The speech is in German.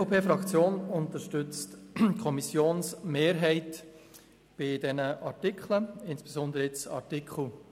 Die EVP-Fraktion unterstützt die Kommissionsmehrheit, was insbesondere Artikel 52 betrifft.